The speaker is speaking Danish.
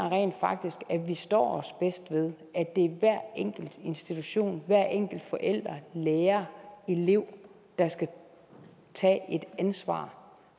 rent faktisk at vi står os bedst ved at det er hver enkelt institution hver enkelt forælder lærer elev der skal tage et ansvar